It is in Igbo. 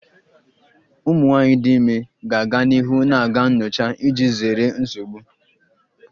Ụmụ nwanyị dị ime ga-aga n'ihu na-aga nyocha iji zere nsogbu